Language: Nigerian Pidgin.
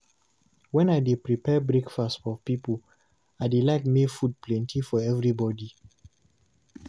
Wen I dey prepare breakfast for pipo, I dey like make food plenty for everybody.